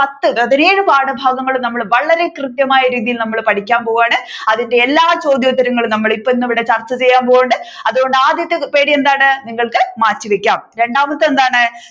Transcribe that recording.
വലിയ ഒരു പാഠഭാഗങ്ങൾ നമ്മൾ വളരെ കൃത്യമായ രീതിയിൽ നമ്മൾ പഠിക്കാൻ പോവുകയാണ് അതിന്റെ എല്ലാ ചോദ്യഉത്തരങ്ങളും നമ്മൾ ഇപ്പൊ ഇന്നിവിടെ ചർച്ച ചെയ്യാൻ പോവുന്നുണ്ട്. അതുകൊണ്ട് ആദ്യത്തെ പേടി എന്താണ് നിങ്ങൾക്ക് മാറ്റിവെക്കാം രണ്ടാമത്തെ എന്താണ്